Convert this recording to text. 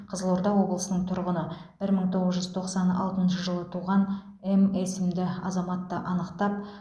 қызылорда облысының тұрғыны бір мың тоғыз жүз тоқсан алтыншы жылы туған м атты азаматты анықтап ұстады